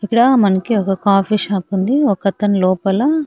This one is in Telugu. ఇక్కడ మనకి ఒక కాఫీ షాప్ ఉంది ఒకతను లోపల.